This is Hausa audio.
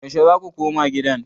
Yaushe za ku koma gidan?